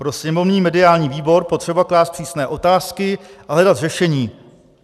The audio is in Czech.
Pro sněmovní mediální výbor potřeba klást přísné otázky a hledat řešení.